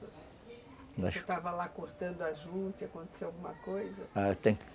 Você estava lá cortando a juta e aconteceu alguma coisa?